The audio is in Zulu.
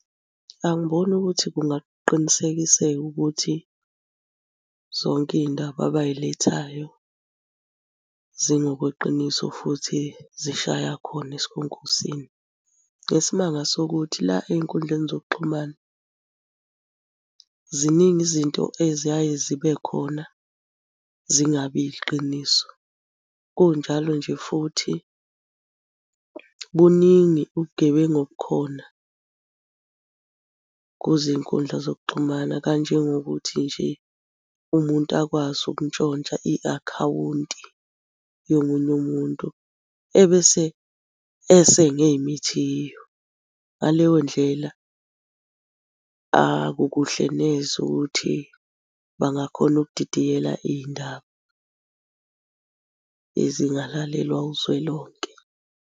Angiboni ukuthi kungakuqinisekiseka ukuthi zonke iy'ndaba abay'lethayo zingokweqiniso futhi zishaya khona esikhonkosini. Ngesimanga sokuthi la ey'nkundleni zokuxhumana, ziningi izinto eziyaye zibe khona zingabi yiqiniso. Kunjalo nje futhi buningi ubugebengu obukhona kuzinkundla zokuxhumana, kanjengokuthi nje umuntu akwazi ukuntshontsha i-akhawunti yomunye umuntu, ebese esenga ey'mithiyo. Ngaleyo ndlela, akukuhle neze ukuthi bangakhona ukudidiyela iy'ndaba ezingalalelwa uzwelonke.